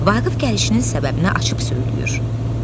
Vaqif gəlişinin səbəbini açıb söyləyir.